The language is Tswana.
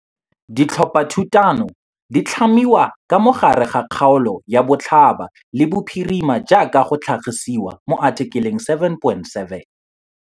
Ditlhophathutano di tlhamiwa ka mo gare ga kgaolo ya botlhaba le bophirima jaaka go tlhagisiwa mo athikeleng 7.7.